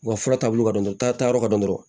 U ka fura taabolo ka dɔn taa yɔrɔ ka dɔn dɔrɔn